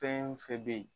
Fɛn fɛn bɛ yen